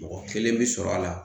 Mɔgɔ kelen bɛ sɔrɔ a la